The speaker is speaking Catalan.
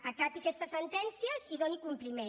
acati aquestes sentències i doni compliment